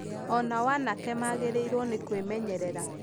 O nao anake magĩrĩirũo nĩ kwĩmenyerera.